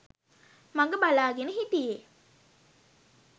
මග බලාගෙන හිටියේ.